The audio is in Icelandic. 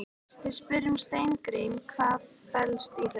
Við spyrjum Steingrím, hvað fellst í þessu?